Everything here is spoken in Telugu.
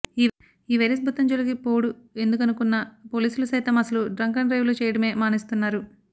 ఈ వైరస్ భూతం జోలికి పోవుడు ఎందుకనుకున్న పోలీసులు సైతం అసలు డ్రంకన్ డ్రైవ్లు చేయడమే మానేస్తున్నారు